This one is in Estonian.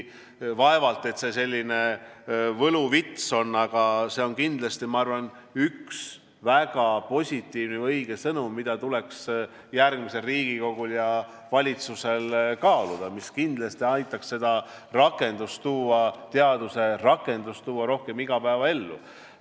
Vaevalt et see võluvits on, aga see on kindlasti, ma arvan, üks väga positiivne või õige sõnum, mida tuleks järgmisel Riigikogul ja valitsusel kaaluda, mis kindlasti aitaks teadust rohkem igapäevaellu tuua.